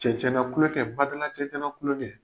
Cɛncɛnna kulonkɛ, badala cɛncɛna kulon kɛ.